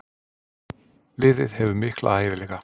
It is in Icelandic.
Liðið hefur mikla hæfileika.